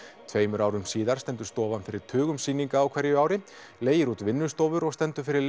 tveimur árum síðar stendur stofan fyrir tugum sýninga á hverju ári leigir út vinnustofur og stendur fyrir